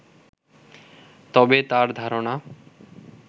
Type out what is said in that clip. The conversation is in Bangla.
তবে তাঁর ধারণা